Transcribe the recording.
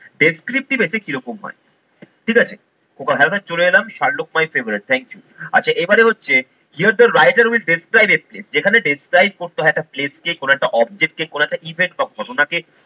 descriptive essay কি রকম হয় ঠিক আছে, okay helmet চলে এলাম Sherlock my favorite thank you আচ্ছা এবারে হচ্ছে here the writer will describe essay যেখানে describe করতে হয় একটা place কে কোন একটা object কে কোন একটা event কক্ষ